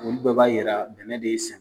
Olu bɛɛ b'a yira dɛmɛ de ye san